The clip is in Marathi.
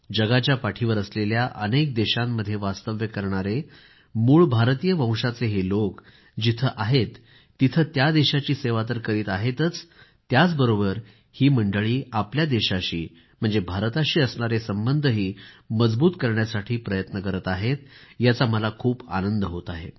जगाच्या पाठीवर असलेल्या अनेक देशांमध्ये वास्तव्य करणारे मूळ भारतीय वंशाचे हे लोक जिथं आहेत तिथं त्या देशांची सेवा तर करीत आहेतच त्याचबरोबर ही मंडळी आपल्या देशाशीभारताशी असणारे संबंधही मजबूत करण्यासाठी प्रयत्न करीत आहेत याचा मला खूप आनंद होत आहे